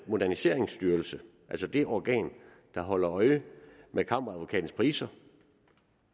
moderniseringsstyrelse altså det organ der holder øje med kammeradvokatens priser